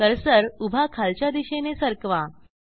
cursor उभा खालच्या दिशेने सरकवा